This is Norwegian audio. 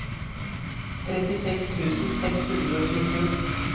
trettiseks tusen seks hundre og tjuesju